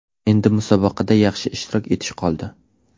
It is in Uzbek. Endi musobaqada yaxshi ishtirok etish qoldi.